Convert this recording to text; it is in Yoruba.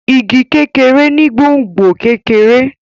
Ìgi kékeré ni gbòngbò kekere.